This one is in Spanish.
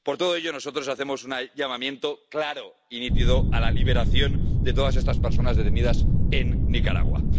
Por todo ello, nosotros hacemos un llamamiento claro y nítido a la liberación de todas estas personas detenidas en Nicaragua.